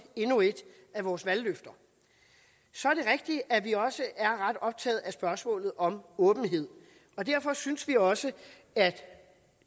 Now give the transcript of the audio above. endnu et af vores valgløfter så er det rigtigt at vi også er ret optaget af spørgsmålet om åbenhed og derfor synes vi også at